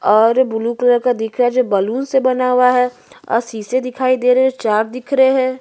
और blue colour का दिख रहा है जो बलून से बना हुआ है और शीशे दिखाई दे रहे है चार दिख रहे है।